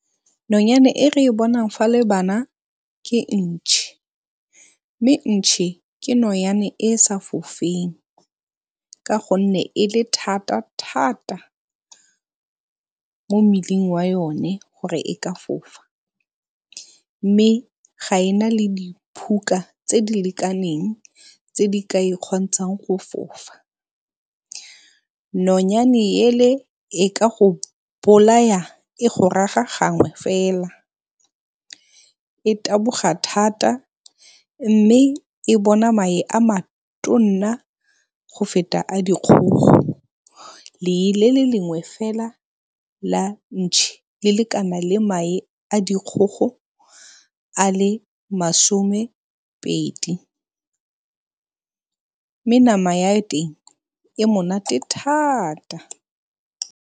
Nonyane e re bonang fa le bana ke ntšhe, mme ntšhe ke nonyane e e sa fofeng ka gonne e le thata-thata mo mmeleng wa yone gore e ka fofa, mme ga e na le diphuka tse di lekaneng tse di ka e kgontshang go fofa. Nonyane ele e ka go bolaya e go raga gangwe fela, e taboga thata, mme e bona mae a go feta a dikgogo. Lee le le lengwe fela la ntšhe le lekana le mae a dikgogo a le masomepedi mme nama ya teng e monate thata.